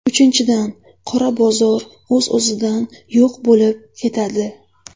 Uchinchidan, qora bozor o‘z-o‘zidan yo‘q bo‘lib ketadi.